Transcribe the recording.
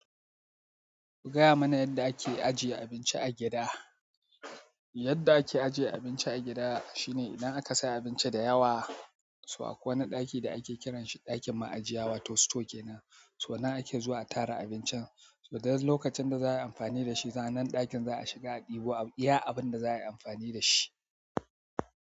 Gaya mana yadda ake ajiye abinci a gida. Yadda ake ajiye abinci a gida shine idan aka sa abinci da yawa, so a kwai wani ɗaki da ake kiranshi ɗakin ma'ajiya wato store kenan, so nan ake zuwa a tara abincin. Idan lokacin da za'a yi amfani da shi, zanen ɗakin za a shiga a ɗebo, iya abin da za a yi amfani da shi.